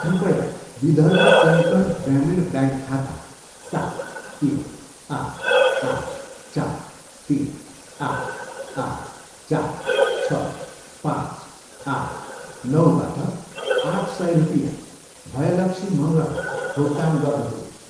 कृपया विदर्भ कोङ्कण ग्रामीण ब्याङ्क खाता सात, तिन, आठ, आठ, चार, तिन, आठ, आठ, चार, छ, पाँच, आठ, नौबाट आठ सय रुपियाँ भयलक्षी मँगरलाई भुक्तान गर्नुहोस्।